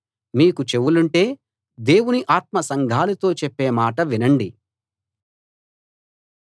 మీకు చెవులుంటే దేవుని ఆత్మ సంఘాలతో చెప్పే మాట వినండి